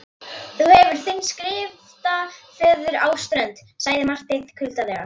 Já, og að leggja varirnar á hálsslagæðina og finna sláttinn.